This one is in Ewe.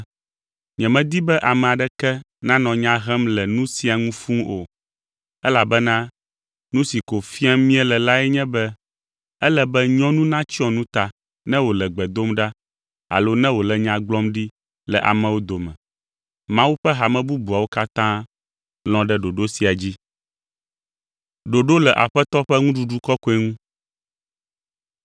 Nyemedi be ame aɖeke nanɔ nya hem le nu sia ŋu fũu o, elabena nu si ko fiam míele lae nye be ele be nyɔnu natsyɔ nu ta ne wòle gbe dom ɖa alo ne wòle nya gblɔm ɖi le amewo dome. Mawu ƒe hame bubuawo katã lɔ̃ ɖe ɖoɖo sia dzi.